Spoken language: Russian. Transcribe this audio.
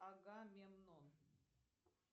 агамемнон